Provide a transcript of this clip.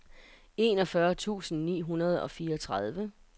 enogfyrre tusind ni hundrede og fireogtredive